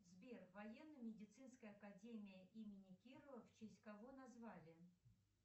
сбер военно медицинская академия имени кирова в честь кого назвали